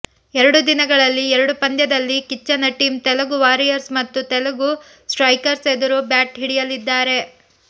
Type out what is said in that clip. ಎರಡು ದಿನಗಳಲ್ಲಿ ಎರಡು ಪಂದ್ಯದಲ್ಲಿ ಕಿಚ್ಚನ ಟೀಂ ತೆಲುಗು ವಾರಿಯರ್ಸ್ ಮತ್ತು ತೆಲುಗು ಸ್ಟ್ರೈಕರ್ಸ್ ಎದುರು ಬ್ಯಾಟ್ ಹಿಡಿಯಲಿದ್ದಾರೆ